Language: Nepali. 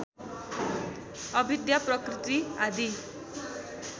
अविद्या प्रकृति आदि